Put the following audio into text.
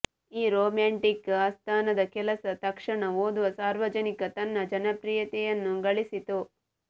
ಈ ರೋಮ್ಯಾಂಟಿಕ್ ಆಸ್ಥಾನದ ಕೆಲಸ ತಕ್ಷಣ ಓದುವ ಸಾರ್ವಜನಿಕ ತನ್ನ ಜನಪ್ರಿಯತೆಯನ್ನು ಗಳಿಸಿತು